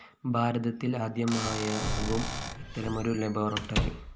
ഭാരതത്തില്‍ ആദ്യമായാകും ഇത്തരമൊരു ലബോറട്ടറി